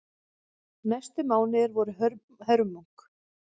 Næstu mánuðir voru hörmung.